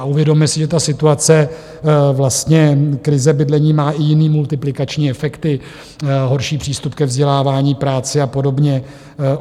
A uvědomme si, že ta situace, vlastně krize bydlení, má i jiné multiplikační efekty: horší přístup ke vzdělávání, práci a podobně.